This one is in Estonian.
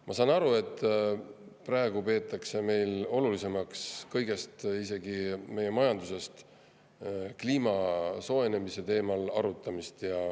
Ma saan aru, et praegu peetakse olulisemaks kõigest, isegi meie majandusest, kliima soojenemise teemal arutamist.